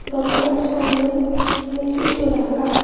দোকানের সামনে অনেক কিছু রাকা ।